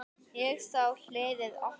Ég sá hliðið opnast.